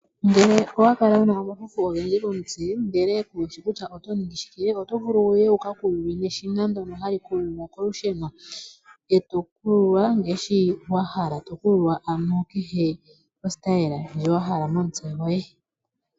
Ngele owakala wuna omafufu ogendji komutse, ndele Kushi kutya oto ningi shike. Oto vulu wuye wukakululwe neshina ndyono hali kulula kolusheno , eto kululwa ngaashi wahala ano momukalo ngoka wahala.